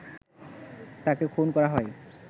তাকে খুন করা হয়